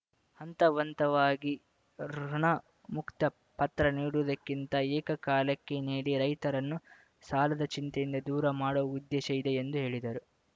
ಹಂತ ಹಂತವಾಗಿ ಋುಣಮುಕ್ತ ಪತ್ರ ನೀಡುವುದಕ್ಕಿಂತ ಏಕಕಾಲಕ್ಕೆ ನೀಡಿ ರೈತರನ್ನು ಸಾಲದ ಚಿಂತೆಯಿಂದ ದೂರ ಮಾಡುವ ಉದ್ದೇಶ ಇದೆ ಎಂದು ಹೇಳಿದರು